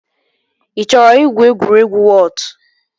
Ị chọrọ igwu egwuregwu wọọt?